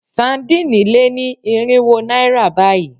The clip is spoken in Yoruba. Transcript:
Sadíìnì lé ní irinwó náírà báyìí.